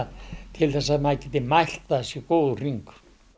til þess að maður gæti mælt að það sé góður hringur